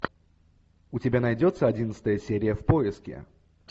у тебя найдется одиннадцатая серия в поиске